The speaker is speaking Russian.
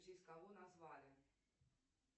в честь кого назвали